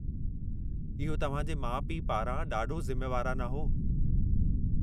इहो तव्हां जे माउ पीउ पारां ॾाढो ज़िम्मेवाराना हो।